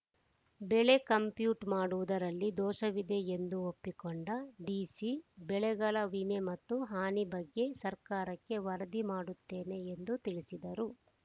ಬೆಳೆ ಕಂಪ್ಯೂಟ್‌ ಮಾಡುವುದರಲ್ಲಿ ಧೋಷವಿದೆ ಎಂದು ಒಪ್ಪಿಕೊಂಡ ಡಿಸಿ ಬೆಳೆಗಳ ವಿಮೆ ಮತ್ತು ಹಾನಿ ಬಗ್ಗೆ ಸರ್ಕಾರಕ್ಕೆ ವರದಿ ಮಾಡುತ್ತೇನೆ ಎಂದು ತಿಳಿಸಿದರು